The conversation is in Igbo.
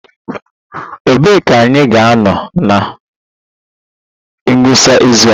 Ebee ka anyị ga-anọ na ngwụsị izu a?